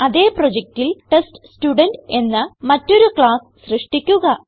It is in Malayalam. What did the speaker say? അതേ പ്രൊജക്റ്റിൽ ടെസ്റ്റ്സ്റ്റുഡെന്റ് എന്ന മറ്റൊരു ക്ലാസ്സ് സൃഷ്ടിക്കുക